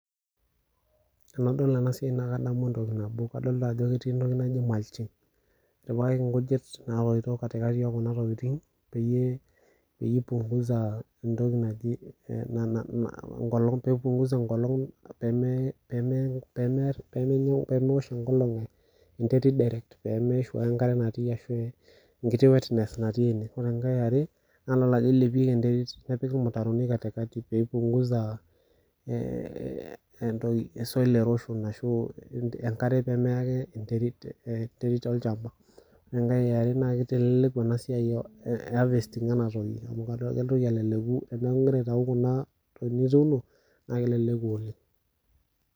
Tenadol enasiai naa kadamu entoki nabo kadol ajo ketii entoki naji mulching etipikaki nkujit natoito katikati okuna tokitin peyie ,peyie ipunguza entoki naji nana peipunguza enkolong peme peme pemeosh enkolong enterit direct pemeishu ake enterit natii ashu enkiti wetness natii ine .Ore enkae naa dol ajo ilepieki enterit nepiki irmutaroni katikati pipunguza ee soil erosion ashu enkare pemeya ake enterit , enterit olchamba. Ore enkae eare keleleku enasiai eharvesting enatoki amu kitoki aleleku teniaku ingira aitau kuna kuna toki nituuno naa keleku oleng ..